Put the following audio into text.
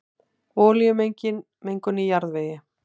Olíumengun í jarðvegi